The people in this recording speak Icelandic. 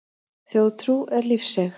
Þjóðtrú er lífseig.